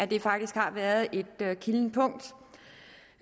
det faktisk har været et kildent punkt